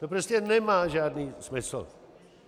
To prostě nemá žádný smysl.